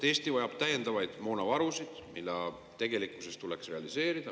Eesti vajab täiendavaid moonavarusid, mida tegelikkuses tuleks realiseerida.